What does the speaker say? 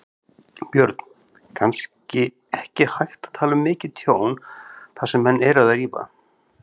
Björn: Kannski ekki hægt að tala um mikið tjón þar sem menn eru að rífa?